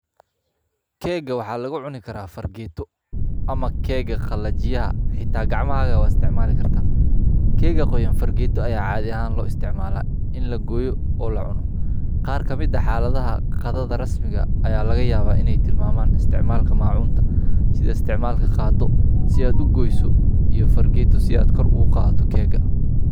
Kega waxa lagu cuni kara fargeeto ama kega qalajiyaha xita gacmahaga wa isticmali karta kega qoyan fargeta aya cadi ahan lo isticmala in lagoyo o lacuno qar ka mid ah xaladaha qada rasmiga aya lagayaba in ay tilmaman isticmalka macuunta si isticmalka qado si ad kugoyso iyo fargeta si ad kor ugu qadato kega.